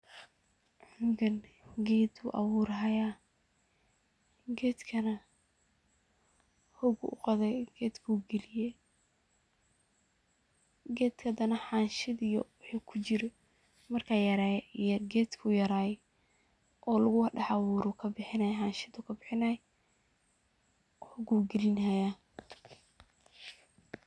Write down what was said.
Ninkan geet ayu aburahaya, geetkana hook ayu u qothay kaliye, geetka handa xanshi jir. Markay yaray oo lagu daax abuuroh kabixin inay xansheto kabixinay, hok ayu kainahaya